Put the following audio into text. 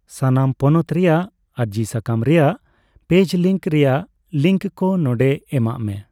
ᱥᱟᱱᱟᱢ ᱯᱚᱱᱚᱛ ᱨᱮᱭᱟᱜ ᱟᱹᱨᱚᱡᱤ ᱥᱟᱠᱟᱢ ᱨᱮᱭᱟᱜ ᱯᱮᱞᱡ ᱞᱤᱝᱠ ᱨᱮᱭᱟᱜ ᱞᱤᱝᱠᱚ ᱱᱚᱰᱮ ᱢᱮᱵᱟᱜᱼᱢᱮ᱾